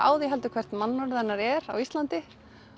á því heldur hvert mannorð hennar er á Íslandi